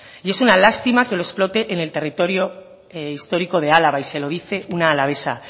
y es una lástima que lo explote en el territorio histórico de álava y se lo dice una alavesa